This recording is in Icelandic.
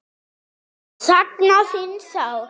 Sakna þín sárt.